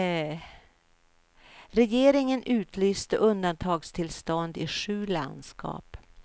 Regeringen utlyste undantagstillstånd i sju landskap.